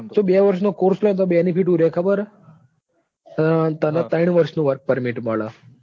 તું બે વર્ષ નો corse લે તો benefit હું રે ખબર છે? તને ત્રણ વર્ષ નું work permit મળે.